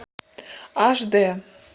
аш д